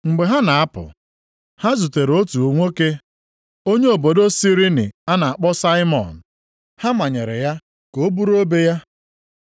Mgbe ha na-apụ, ha zutere otu nwoke onye obodo Sirini a na-akpọ Saimọn. Ha manyere ya ka o buru obe ya.